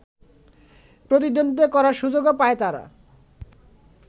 প্রতিদ্বন্দ্বিতা করার সুযোগও পায় তারা